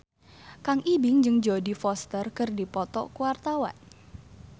Kang Ibing jeung Jodie Foster keur dipoto ku wartawan